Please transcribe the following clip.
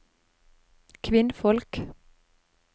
kvinnfolk